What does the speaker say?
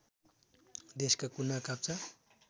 देशका कुना काप्चा